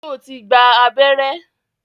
Sọ ti gba abẹ́rẹ́?